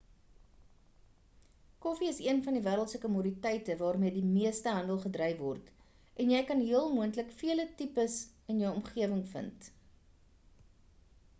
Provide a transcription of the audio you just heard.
koffie is een van die wêreld se komoditeite waarmee die meeste handel gedryf word en jy kan heel moontlik vele tipes in jou omgewing vind